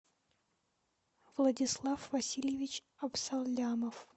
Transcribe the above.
владислав васильевич абсалямов